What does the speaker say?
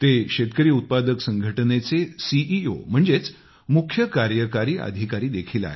ते शेतकरी उत्पादक संघटनेचे सीईओ म्हणजे मुख्य कार्यकारी अधिकारी देखील आहेत